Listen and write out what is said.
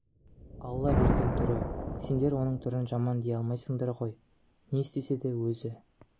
алла берген түрі сендер оның түрі жаман дей алмайсыңдар өмір ғой не істесе де өзі